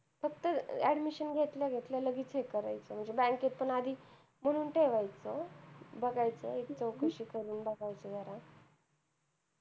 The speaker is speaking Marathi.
फक्त admission घेतल्या घेतल्या लगेच check करायचं म्हणजे bank पण आधी भरून ठेवायचं बघायचं चौकशी करून बघायची जरा